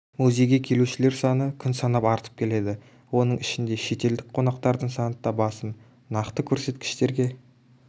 музейге келушілер саны күн санап артып келеді оның ішінде шетелдік қонақтардың саны да басым нақты көрсеткіштерге